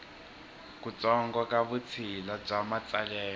kutsongo ka vutshila bya matsalelo